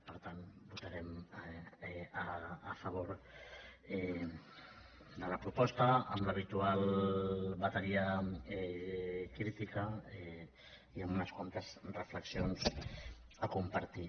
per tant votarem a favor de la proposta amb l’habitual bateria crítica i amb unes quantes reflexions a compartir